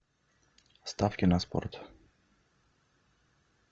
ставки на спорт